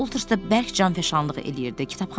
Mr. Ulters də bərk canfəşanlıq eləyirdi.